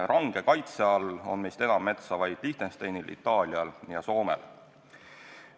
Range kaitse all on meist enam metsa Liechtensteinil, Itaalial ja Soomel.